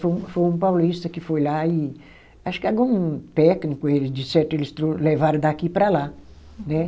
Foi um, foi um paulista que foi lá e acho que algum técnico eles de certo eles levaram daqui para lá, né?